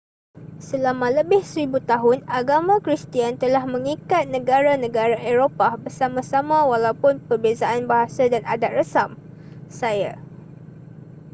selama lebih seribu tahun agama kristian telah mengikat negara-negara eropah bersama-sama walaupun perbezaan bahasa dan adat resam saya